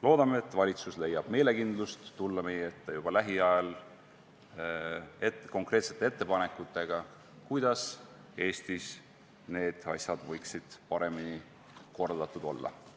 Loodame, et valitsus leiab meelekindlust tulla juba lähiajal meie ette konkreetsete ettepanekutega, kuidas Eestis need asjad võiksid paremini korraldatud olla.